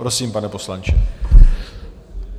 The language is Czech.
Prosím, pane poslanče.